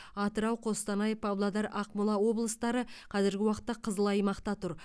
атырау қостанай павлодар ақмола облыстары қазіргі уақытта қызыл аймақта тұр